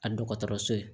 A dɔgɔtɔrɔso ye